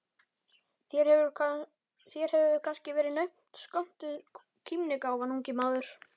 Þér hefur kannski verið naumt skömmtuð kímnigáfan, ungi maður.